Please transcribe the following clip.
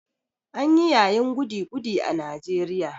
An yi yayin goody-goody a Najeriya.